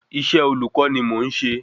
Iṣẹ́ olùkọ́ ni mò n ṣe